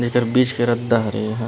ऐकर बीच के रदा हरे एहा